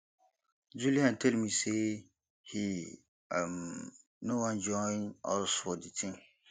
julian tell me say he um no wan join us for the thing